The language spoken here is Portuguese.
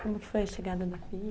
Como que foi a chegada da filha?